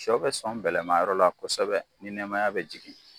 Sɔ bɛ sɔn bɛlɛmayɔrɔ la kosɛbɛ ni nɛmaya bɛ jigin.